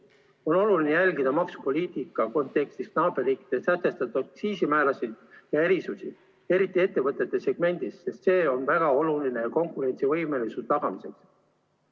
On oluline jälgida maksupoliitika kontekstis naaberriikide sätestatud aktsiisimäärasid ja erisusi, eriti ettevõtete segmendis, sest see on väga oluline konkurentsivõime tagamiseks.